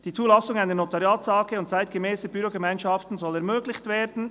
«Die Zulassung einer Notariats-AG und zeitgemässer Bürogemeinschaften soll ermöglicht werden.